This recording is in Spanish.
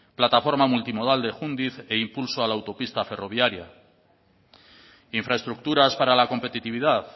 plataforma multimodal de júndiz e impulso a la autopista ferroviaria infraestructuras para la competitividad